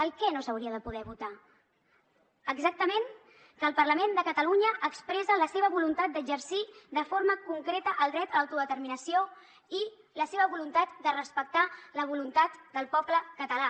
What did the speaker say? el què no s’hauria de poder votar exactament que el parlament de catalunya expressa la seva voluntat d’exercir de forma concreta el dret a autodeterminació i la seva voluntat de respectar la voluntat del poble català